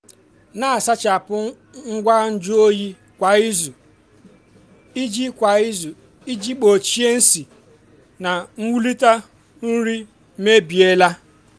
na-asachapụ ngwa nju oyi kwa izu iji kwa izu iji gbochie isi na iwulite nri mebiela.